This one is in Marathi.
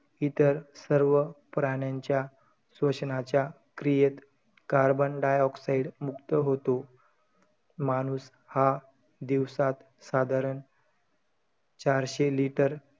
इतर सर्व प्राण्यांच्या श्वसनाच्या क्रियेत carbon dioxide मुक्त होतो. माणूस हा दिवसात साधारण चारशे litre,